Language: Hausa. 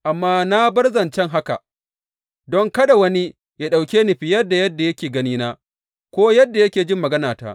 Amma na bar zancen haka, don kada wani ya ɗauke ni fiye da yadda yake ganina, ko yadda yake jin maganata.